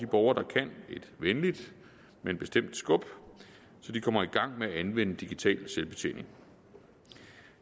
borgere der kan et venligt men bestemt skub så de kommer i gang med at anvende digital selvbetjening